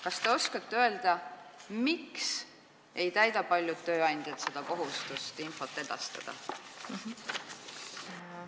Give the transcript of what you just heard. Kas te oskate öelda, miks ei täida paljud tööandjad seda kohustust infot edastada?